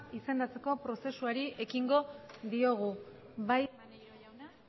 izendatzeko prozesuari ekingo diogu bai maneiro jauna